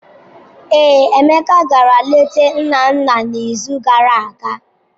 Ee, Emeka gara leta nna nna n'izu gara aga.